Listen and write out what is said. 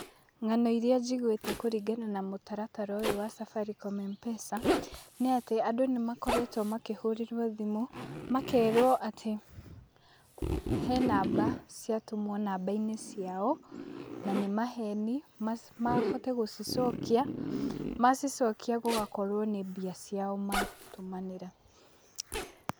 Ng'ano iria njiguĩte kũringana na mũtaratara ũyũ wa Safaricom M-pesa, nĩ atĩ, andũ nĩmakoretwo makĩhũrĩrwo thimũ makerwo atĩ henamba ciatũmwo nambainĩ ciao na nĩ maheni mahote gũcicokia, macicokia gũgakorwo nĩ mbia ciao matũmanĩra